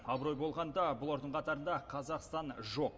абырой болғанда бұлардың қатарында қазақстан жоқ